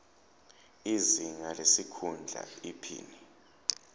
izinga lesikhundla iphini